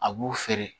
A b'u feere